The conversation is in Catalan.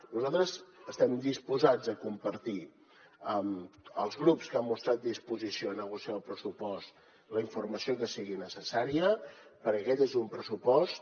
nosaltres estem disposats a compartir amb els grups que han mostrat disposició a negociar el pressupost la informació que sigui necessària perquè aquest és un pressupost